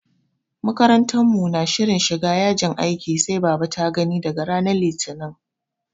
Makarantar mu na shirin shiga yajin aikin sai baba ta gani daga ranar Litinin.